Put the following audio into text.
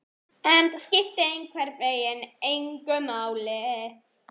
En það skipti einhvern veginn engu máli.